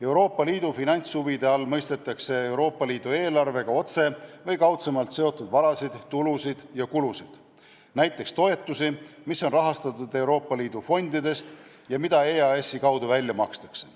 Euroopa Liidu finantshuvide all mõistetakse Euroopa Liidu eelarvega otse või kaudselt seotud varasid, tulusid ja kulusid, näiteks toetusi, mida rahastatakse Euroopa Liidu fondidest ja mis makstakse välja EAS-i kaudu.